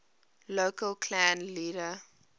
local clan leader